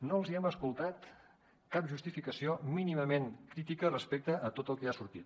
no els hem escoltat cap justificació mínimament crítica respecte a tot el que ha sortit